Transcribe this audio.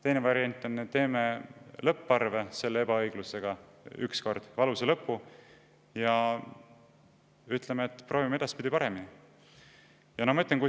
Teine variant on see, et me teeme selle ebaõiglusega lõpparve, ühekordse valusa lõpu, ja ütleme, et edaspidi proovime teha paremini.